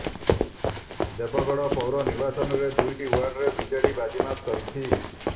ଦେବଗଡ ପୌର ନିର୍ବାଚନରେ ଦୁଇଟି ୱାର୍ଡରେ ବିଜେଡି ବାଜିମାତ କରିଛି